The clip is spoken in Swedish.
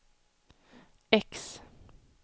X